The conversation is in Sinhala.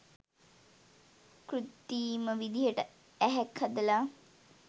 කෘතිම විදිහට ඇහැක් හදලා